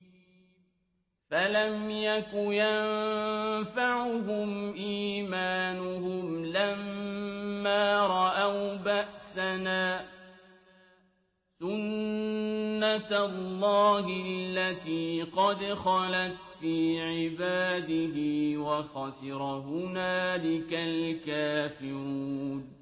فَلَمْ يَكُ يَنفَعُهُمْ إِيمَانُهُمْ لَمَّا رَأَوْا بَأْسَنَا ۖ سُنَّتَ اللَّهِ الَّتِي قَدْ خَلَتْ فِي عِبَادِهِ ۖ وَخَسِرَ هُنَالِكَ الْكَافِرُونَ